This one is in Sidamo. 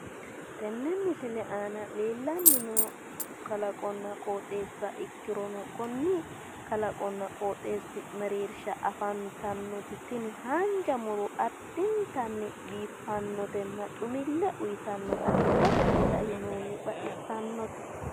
tenne misile aana leellanni noo kalaqonna qooxeessa ikkirono konne qooxeessi mereersha afantannoti tini haanja muro addintanni biiffannotenna xumille uyiitannota ikkasenni kainohunni baxissannote.